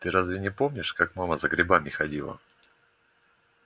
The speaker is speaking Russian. ты разве не помнишь как мама за грибами ходила